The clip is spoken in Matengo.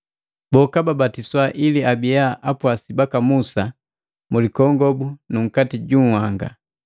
Boka babatiswa ili abiya apwasi baka Musa mulikongobu nunkati ju uhanga.